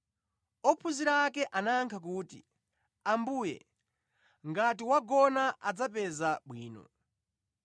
Ophunzira ake anayankha kuti, “Ambuye, ngati wagona adzapeza bwino.”